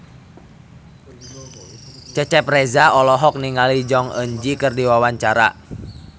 Cecep Reza olohok ningali Jong Eun Ji keur diwawancara